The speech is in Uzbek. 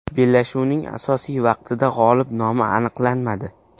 Bellashuvning asosiy vaqtida g‘olib nomi aniqlanmadi.